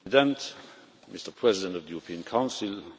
La vérité n'est pas dans la répétition.